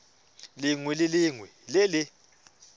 lengwe le lengwe le le